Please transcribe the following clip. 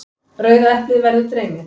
Rauða eplið verður dreymið.